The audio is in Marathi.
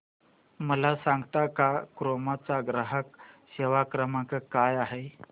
मला सांगता का क्रोमा चा ग्राहक सेवा क्रमांक काय आहे